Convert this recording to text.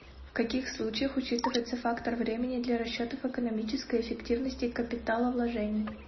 в каких случаях учитывается фактор времени для расчетов экономической эффективности капиталовложений